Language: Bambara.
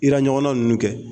Ira ɲɔgɔnna ninnu kɛ